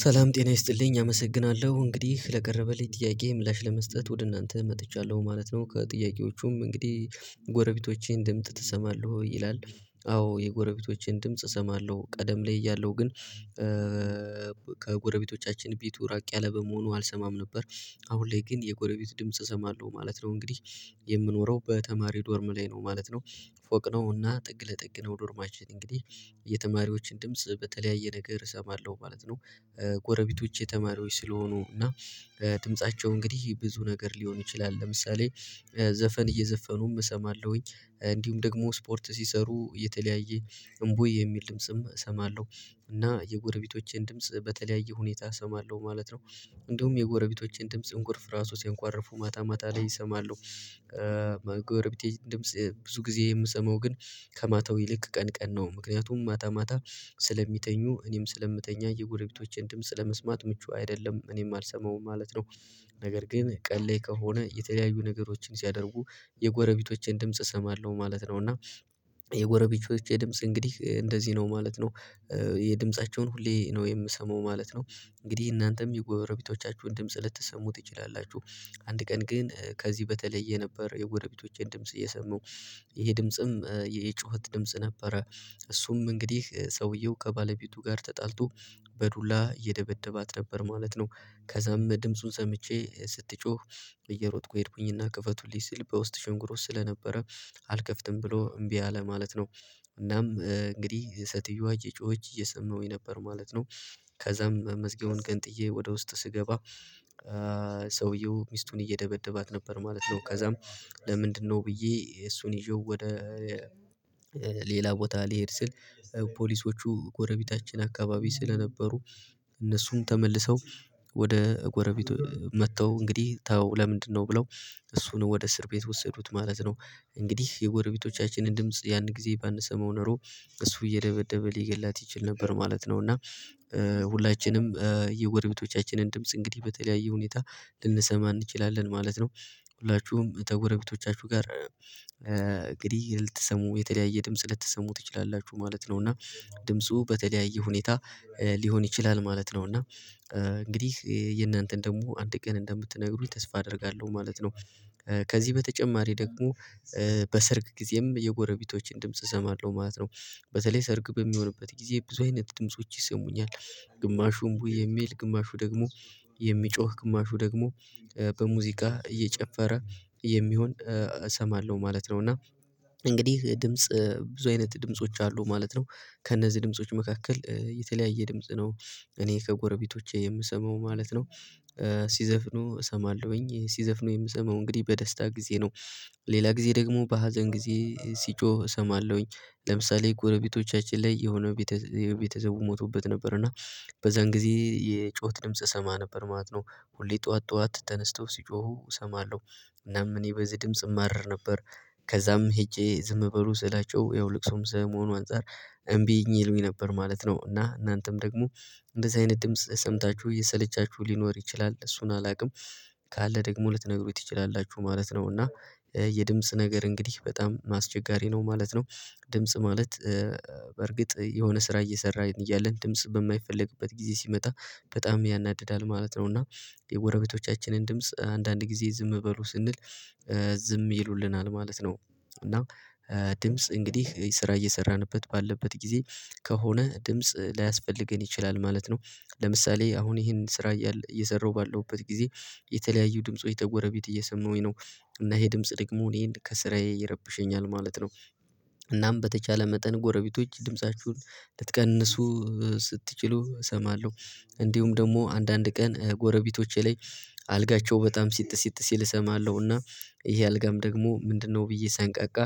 ሰላም ጤና ይስጥልኝ! አመሰግናለሁ። እንግዲህ ለቀረበልኝ ጥያቄ ምላሽ ለመስጠት ወደ እናንተ መጥቻለሁ ማለት ነው። ከጥያቄዎቹም እንግዲህ ጎረቤቶቼን ድምጽ ትሰማለህ ወይ? ይላል አዎ የጎረቤቶቼን ድምጽ እሰማለሁ። ቀደም ላይ እያለሁ ግን ከጎረቤቶቻችን ቤቱ ራቅ ያለ በመሆኑ አልሰማም ነበር። አሁን ላይ ግን የጎረቤት ድምጽ እሰማለሁ ማለት ነው። እንግዲህ የምኖረው በተማሪ ዶርም ላይ ነው ማለት ነው። ፎቅ ነው። እና ጥግ ለጥግ ነው ዶርማችን እንግዲህ የተማሪዎችን ድምጽ በተለያየ ነገር እሰማለሁ ማለት ነው። ጎረቤቶቼ ተማሪዎች ስለሆኑ እና ድምፃቸው እንግዲህ ብዙ ነገር ሊሆን ይችላል። ለምሳሌ ዘፈን እየዘፈኑም እሰማለሁኝ። እንዲሁም ደግሞ ስፖርት ሲሰሩ የተለያየ እምቦይ የሚል ድምጽም እሰማለሁ። እና የጎረቤቶቼን ድምጽ በተለያየ ሁኔታ እሰማለሁ ማለት ነው። እንዲሁም የጎረቤቶቼን ድምጽ እንኩርፍ ራሱ ሲያንኳረፉ ማታ ማታ ላይ እሰማለሁ። ጎረቤቴ ድምጽ ብዙ ጊዜ የምሰማው ግን ከማታው ይልቅ ቀን ቀን ነው። ምክንያቱም ማታ ማታ ስለሚተኙ እኔም ስለምተኛ የጎረቤቶቼን ድምጽ ለመስማት ምቹ አይደለም። እኔም አልሰማሁም ማለት ነው። ነገር ግን ቀን ላይ ከሆነ የተለያዩ ነገሮችን ሲያደርጉ የጎረቤቶቼን ድምጽ እሰማለሁ ማለት ነው። እና የጎረቤቶቼ ድምጽ እንግዲህ እንደዚህ ነው ማለት ነው። የድምፃቸውን ሁሌ ነው የምሰማው ማለት ነው። እንግዲህ እናንተም የጎበረቤቶቻችሁን ድምጽ ልትሰሙ ትችላላችሁ። አንድ ቀን ግን ከዚህ በተለየ ነበር የጎረቤቶቼን ድምጽ የሰማው። ይሄ ድምጽም የጩኸት ድምጽ ነበረ። እሱም እንግዲህ ሰውየው ከባለቤቱ ጋር ተጣልቶ በዱላ እየደበደባት ነበር ማለት ነው። ከዛም ድምፁን ሰምቼ ስትጮህ እየሮጥኩ ሄድኩኝና ክፈቱልኝ ስል በውስጥ ሽንጉሮት ስለነበረ አልከፍትም ብሎ እምቢ አለ ማለት ነው። እናም እንግዲህ ሲትዮዋ እጮኸች እየሰማሁኝ ነበር ማለት ነው። ከዛም መዝጊያውን ገንጥዬ ወደ ውስጥ ስገባ ሰውየው ሚስቱን እየደበደባት ነበር ማለት ነው። ከዛም ለምንድነው ብዬ እሱን ይዤው ወደ ሌላ ቦታ ልሄድ ስል ፖሊሶቹ ጎረቤታችን አካባቢ ስለነበሩ እነሱም ተመልሰው ወደ ጎረቤት መጥተው እንግዲህ ተው ለምንድነው ብለው እሱን ወደ እስር ቤት ወሰዱት ማለት ነው። እንግዲህ የጎረቤቶቻችንን ድምጽ ያን ጊዜ ባንሰመው ኖሮ እሱ እየደበደበ ሊገላት ይችል ነበር ማለት ነው። እና ሁላችንም የጎሬበቶቻችንን ድምጽ እንግዲህ በተለያየ ሁኔታ ልንሰማ እንችላለን ማለት ነው። ሁላችሁም ከጎረቤቶቻችሁ ጋር እንግዲህ ልትሰሙ የተለያየ ድምጽ ልትሰሙ ትችላላችሁ ማለት ነው። እና ድምፁ በተለያየ ሁኔታ ሊሆን ይችላል ማለት ነው። እና እንግዲህ የእናንተን ደግሞ አንድ ቀን እንደምትነግሩኝ ተስፋ አደርጋለሁ ማለት ነው። ከዚህ በተጨማሪ ደግሞ በሰርግ ጊዜም የጎረቤቶችን ድምጽ እሰማለሁ ማለት ነው። በተለይ ሰርግ በሚሆንበት ጊዜ ብዙ አይነት ድምጾች ይሰሙኛል። ግማሹ እምቡ የሚል ግማሹ ደግሞ የሚጮህ ግማሹ ደግሞ በሙዚቃ እየጨፈረ የሚሆን እሰማለሁ ማለት ነው። እና እንግዲህ ድምጽ ብዙ አይነት ድምጾች አሉ ማለት ነው። ከእነዚህ ድምጾች መካከል የተለያየ ድምጽ ነው። እኔ ከጎረቤቶቼ የምሰማው ማለት ነው። ሲዘፍኑ እሰማለሁኝ። ሲዘፍኑ የምሰማው እንግዲህ በደስታ ጊዜ ነው። ሌላ ጊዜ ደግሞ በሀዘን ጊዜ ሲጮህ እሰማለሁኝ። ለምሳሌ ጎረቤቶቻችን ላይ የሆነው የቤተሰቡ ሞቶበት ነበር። እና በዛን ጊዜ የጩኸት ድምጽ እሰማ ነበር ማለት ነው። ሁሌ ጠዋት ጠዋት ተነስተው ሲጮሁ እሰማለሁ። እናም እኔ በዚህ ድምጽ እማረር ነበር። ከዛም ሄጄ ዝም በሉ ስላቸው ያው ልቅሶም ሰለመሆኑ አንፃር እምቢኝ ይሉኝ ነበር ማለት ነው። እና እናንተም ደግሞ እንደዚህ አይነት ድምጽ ሰምታችሁ እየሰለቻችሁ ሊኖር ይችላል። እሱን አላውቅም። ካለ ደግሞ ልትነግሩኝ ትችላላችሁ ማለት ነው። እና የድምጽ ነገር እንግዲህ በጣም አስቸጋሪ ነው ማለት ነው። ድምጽ ማለት በእርግጥ የሆነ ስራ እየሰራ እያለን ድምጽ በማይፈለግበት ጊዜ ሲመጣ በጣም ያናድዳል ማለት ነው። እና የጎረቤቶቻችንን ድምጽ አንዳንድ ጊዜ ዝም በሉ ስንል ዝም ይሉልናል ማለት ነው። እና ድምጽ እንግዲህ ስራ እየሰራንበት ባለበት ጊዜ ከሆነ ድምጽ ላያስፈልገን ይችላል ማለት ነው። ለምሳሌ አሁን ይሄንን ስራ እየሰራሁ ባለሁበት ጊዜ የተለያዩ ድምፁ የተጎረቤት እየሰማሁኝ ነው። እና ይሄ ድምጽ ደግሞ እኔን ከስራዬ ይረብሸኛል ማለት ነው። እናም በተቻለ መጠን ጎረቤቶች ድምፃችሁን ልትቀንሱ ስትችሉ እሰማለሁ። እንዲሁም ደግሞ አንዳንድ ቀን ጎረቤቶቼ ላይ አልጋቸው በጣም ሲጥስ ሲጥስ ሲል እሰማለሁ። እና ይሄ አልጋም ደግሞ ምንድነው ብዬ ሰንቀቃ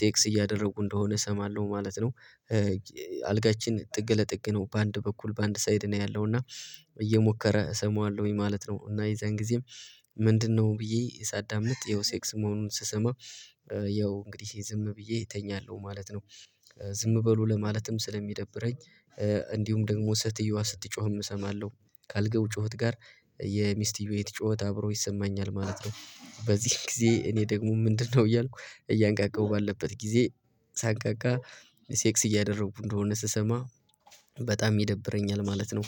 ሴክስ እያደረጉ እንደሆነ እሰማለሁ ማለት ነው። አልጋችን ጥግ ለጥግ ነው በአንድ በኩል በአንድ ሳይድ ነው ያለው። እና እየሞከረ እሰማዋለሁኝ ማለት ነው። እና የዛን ጊዜም ምንድነው ብዬ ሳዳምጥ የሴክስ መሆኑን ስሰማ ያው እንግዲህ ዝም ብዬ እተኛለሁ ማለት ነው። ዝም በሉ ለማለትም ስለሚደብረኝ እንዲሁም ደግሞ ሴትዮዋ ስትጮህም እሰማለሁ። ካልጋው ጩኸት ጋር የሚስትዮይት ጩኸት አብሮ ይሰማኛል ማለት ነው። በዚህ ጊዜ እኔ ደግሞ ምንድነው እያልኩ እያንቃቃሁ ባለበት ጊዜ ሳንቃቃ ሴክስ እያደረኩ እንደሆነ ስሰማ በጣም ይደብረኛል ማለት ነው።